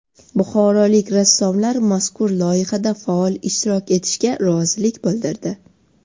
Buxorolik rassomlar mazkur loyihada faol ishtirok etishga rozilik bildirdi.